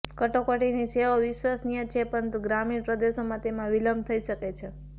કટોકટીની સેવાઓ વિશ્વસનીય છે પરંતુ ગ્રામીણ પ્રદેશોમાં તેમાં વિલંબ થઈ શકે છે